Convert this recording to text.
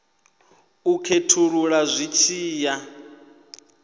u khethulula zwi tshi ya